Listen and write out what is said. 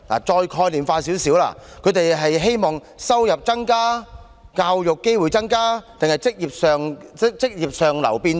再概念化一點，他們是希望收入增加？教育機會增加？還是職業上流變動？